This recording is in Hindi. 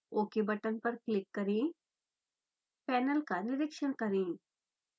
ok बटन पर क्लिक करेंपैनल का निरिक्षण करें